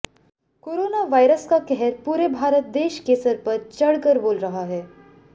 corona virus का कहर पूरे भारत देश के सर पर चढ़कर बोल रहा है